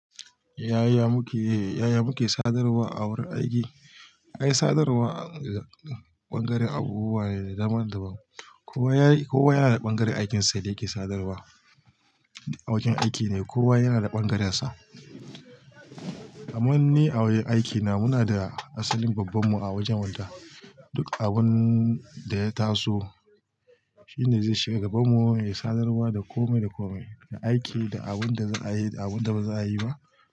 Yaya muke-- yaya muke sadarwa a wurin aiki? Ai sadarwa, bangaren abubuwa ne daban-daban. Kowa ya yi, kowa yana ɓangaren aikinsa da yake sadarwa. A wajen aiki ne, kowa yanada ɓangararsa. Aman ni a wurin aikina muna da asalin babbanmu a wajen wadda. Duk abun da ya taso, shi ne zai shiga gabanmu yayi sadarwa da kome da kome. Da aiki, da abun da za'ayi, da abun daba za'ayi ba.